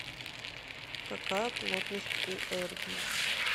какая плотность у эрбий